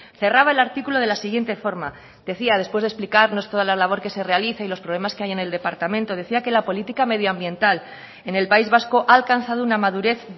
cerraba el artículo de la siguiente forma decía después de explicarnos toda la labor que se realiza y los problemas que hay en el departamento decía que la política medioambiental en el país vasco ha alcanzado una madurez